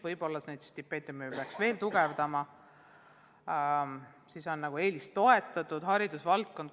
Võib-olla peaks stipendiume suurendama, see võiks olla eelistoetatud valdkond.